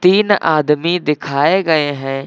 तीन आदमी दिखाये गये हैं।